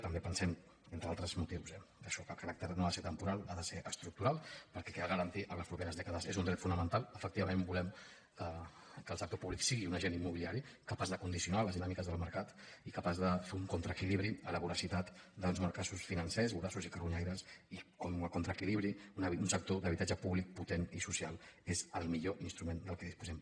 també pensem entre altres motius eh que això que el caràcter no ha de ser temporal ha de ser estructural perquè cal garantir a les properes dècades és un dret fonamental efectivament volem que el sector públic sigui un agent immobiliari capaç de condicionar les dinàmiques del mercat i capaç de fer un contraequilibri a la voracitat dels mercats financers voraços i carronyaires i com a contraequilibri un sector d’habitatge públic potent i social és el millor instrument del qual disposem